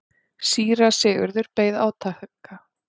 Síra Sigurður beið átekta.